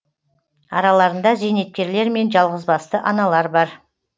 араларында зейнеткерлер мен жалғызбасты аналар бар